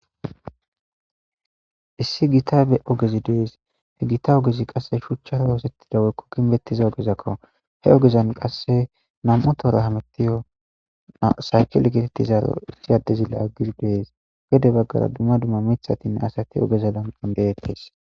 issi gitabe ogezi dees he gita ogezi qasse shuchchara woosettida woykko kinbettiza ogezakko he ogezan qasse nam7u tora hamettiyo saakilegetettizaro issi addezile agir dees gede baggara dumma dumma mithatinne asati ogeza lam7ondeetes